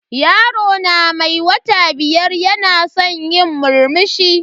Yaro na mai wata biyar yana san yi murmushi.